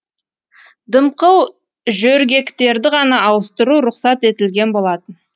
дымқыл жөргектерді ғана ауыстыру рұқсат етілген болатын